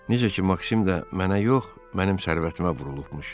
Necə ki, Maksim də mənə yox, mənim sərvətimə vurulubmuş.